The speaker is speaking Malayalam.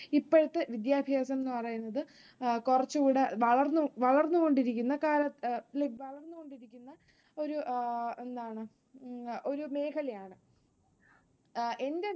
ഇപ്പഴത്തെ വിദ്യാഭ്യാസം എന്നുപറയുന്നത് കുറച്ചുകൂടെ വളർന്നു വളർന്നുകൊണ്ടിരിക്കുന്ന ഒരു എന്താണ് ഒരു മേഖലയാണ് എൻ്റെ